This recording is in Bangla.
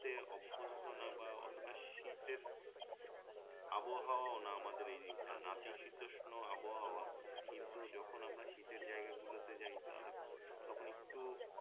অভ্য়স্ত না বা অতটা শীতের আবহাওয়া ও না আমাদের এদিকটায় নাতিশীতোষ্ণ আবহাওয়া কিন্তু যখন আমরা শীতের জায়গা গুলোতে যাই তাহলে তখন একটু